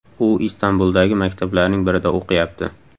U Istanbuldagi maktablarning birida o‘qiyapti.